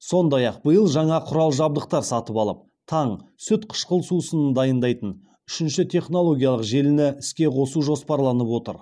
сондай ақ биыл жаңа құрал жабдықтар сатып алып таң сүт қышқыл сусынын дайындайтын үшінші технологиялық желіні іске қосу жоспарланып отыр